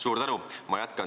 Suur tänu!